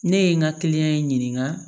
Ne ye n ka in ɲininka